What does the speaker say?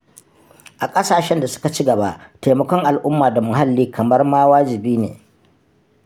A ƙasashen da suka ci gaba taimakon al'umma da muhalli kamar ma wajibi ne.